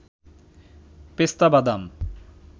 পেস্তা বাদাম